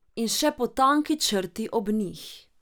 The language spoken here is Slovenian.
In še po tanki črti ob njih.